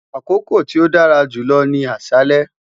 Akoko ti o dara julọ mi ni aṣalẹ